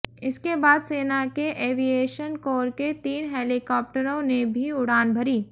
इसके बाद सेना के एविएशन कोर के तीन हेलीकाप्टरों ने भी उड़ान भरी